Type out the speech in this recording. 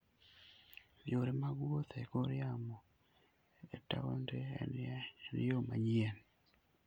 Yore mag wuoth e kor yamo e taonde en yo manyien.